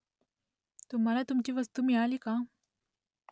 तुम्हाला तुमची वस्तू मिळाली का ?